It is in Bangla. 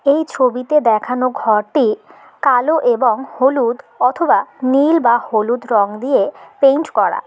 এই ছবিতে দেখানো ঘরটি কালো এবং হলুদ অথবা নীল বা হলুদ রং দিয়ে পেইন্ট করা।